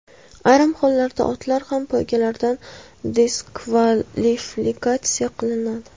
Ayrim hollarda otlar ham poygalardan diskvalifikatsiya qilinadi.